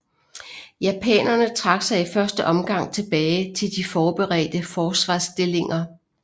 Japanerne trak sig i første omgang tilbage til de forberedte forsvarsstillinger